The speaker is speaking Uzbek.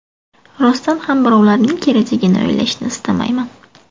Rostdan ham birovlarning kelajagini o‘ylashni istamayman.